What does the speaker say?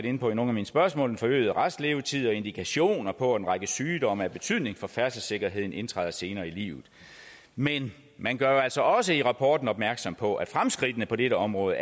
inde på i nogle af mine spørgsmål til den forøgede restlevetid og indikationer på at en række sygdomme af betydning for færdselssikkerheden indtræder senere i livet men man gør jo altså også i rapporten opmærksom på at fremskridtene på dette område